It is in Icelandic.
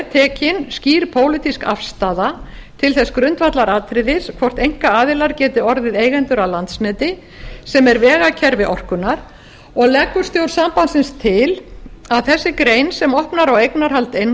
tekin skýr pólitísk afstaða til þess grundvallaratriðis hvort einkaaðilar geti orðið eigendur að landsneti sem er vegakerfi raforkunnar og leggur stjórn sambandsins til að þessi grein sem opnar á eignarhald einkaaðila